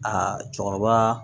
Aa cɛkɔrɔba